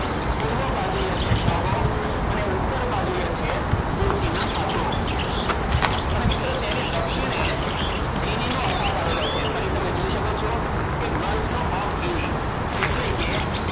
પૂર્વ બાજુએ છે ટોગો અને ઉત્તર બાજુએ છે બુર્તિના ફાસો. અને મિત્રો તેની દક્ષિણે ગિનીનો અખાત આવેલો છે. અહીં તમે જોઈ શકો છો કે ગલ્ફ ઓફ ઘીની. એટલે કે,